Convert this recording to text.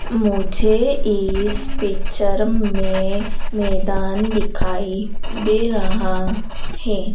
मुझे इस पिक्चर में मैदान दिखाई दे रहा है।